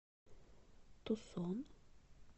тусон